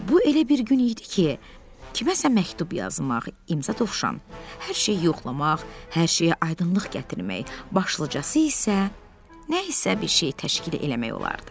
Bu elə bir gün idi ki, kiməsə məktub yazmaq imza Dovşan, hər şeyi yoxlamaq, hər şeyə aydınlıq gətirmək, başlıcası isə nə isə bir şey təşkil eləmək olardı.